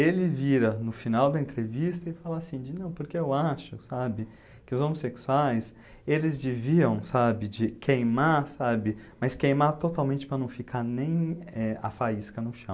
Ele vira no final da entrevista e fala assim, de não, porque eu acho, sabe, que os homossexuais, eles deviam, sabe, de queimar, sabe, mas queimar totalmente para não ficar nem, eh, a faísca no chão.